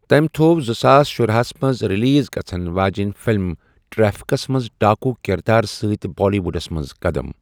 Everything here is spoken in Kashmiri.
تٔمۍ تھوٚو زٕساس شُراہسَ منٛز ریلیز گژھن واجٮ۪ن فلم 'ٹریفکس' منٛز ڈاکو کردار سۭتۍ بالی ووڈس منٛز قدم۔